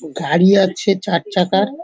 গাড়ি আছে চার চাকার ।